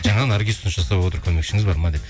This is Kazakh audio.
жаңа наргиз ұсыныс жасап отыр көмекшіңіз бар ма деп